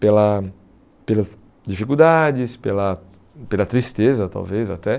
Pela pelas dificuldades, pela pela tristeza, talvez até.